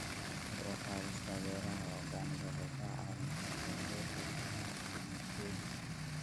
Kor u qaadista beeraha organic waxay ka caawin kartaa yareynta isticmaalka kiimikooyinka.